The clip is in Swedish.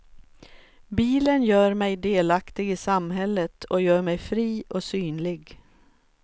Bilen gör mig delaktig i samhället och gör mig fri och synlig.